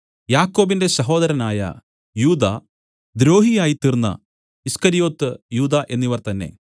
യാക്കോബിന്റെ സഹോദരനായ യൂദാ ദ്രോഹിയായ്തീർന്ന ഈസ്കര്യോത്ത് യൂദാ എന്നിവർ തന്നേ